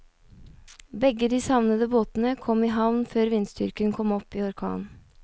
Begge de savnede båtene kom i havn før vindstyrken kom opp i orkan.